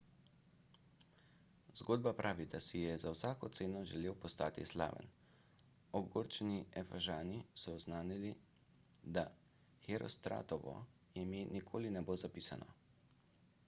zgodba pravi da si je za vsako ceno želel postati slaven ogorčeni efežani so oznanili da herostratovo ime nikoli ne bo zapisano